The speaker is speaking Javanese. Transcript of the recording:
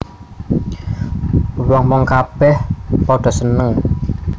Wong wong kabè padha seneng